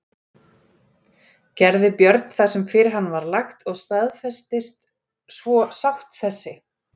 Gerði Björn það sem fyrir hann var lagt og staðfestist svo sátt þessi.